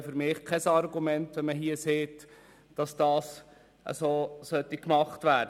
Für mich ist es kein Argument, hier zu sagen, dies müsse so gemacht werden.